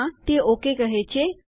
હા તે ઓકે કહે છે